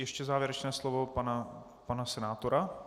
Ještě závěrečné slovo pana senátora.